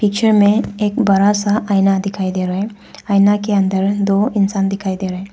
दृश्य में एक बड़ा सा आईना दिखाई दे रहा है आईना के अंदर दो इंसान दिखाई दे रहा है।